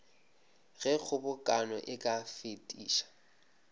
ge kgobokano e ka fetiša